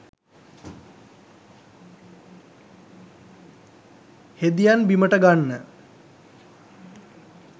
හෙදියන් බිමට ගන්න